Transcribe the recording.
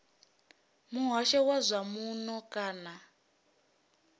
muhasho wa zwa muno kana